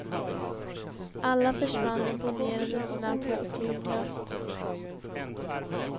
Alla försvann imponerande snabbt och ljudlöst.